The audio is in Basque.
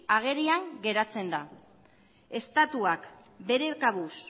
agerian geratzen da estatuak bere kabuz